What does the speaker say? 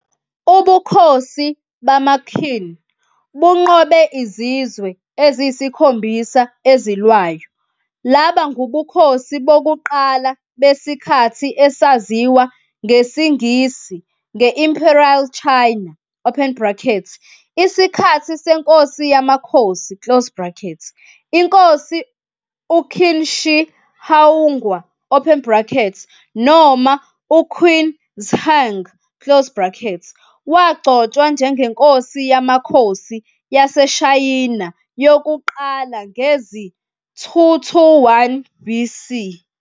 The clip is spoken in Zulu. Ubukhosi bamaQin bunqobe Izizwe Eziyisikhombisa Ezilwayo labangubukhosi bobuqala besikhathi esaziwa ngesiNgisi nge-"Imperial China", open bracket, isikhathi seNkosi yamaKhosi, close bracket. Inkosi uQin Shi Huang, open bracket, noma, uQin Zheng, close bracket, wagcotshwa njengeNkosi yamaKhosi yaseShayina yokuqala ngezi-221 BC.